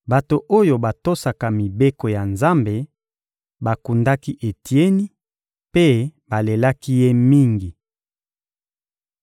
Bato oyo batosaka mibeko ya Nzambe bakundaki Etieni mpe balelaki ye mingi.